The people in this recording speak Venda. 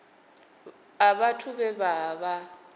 a vhathu vhe vha vha